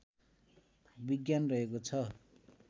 विज्ञान रहेको छ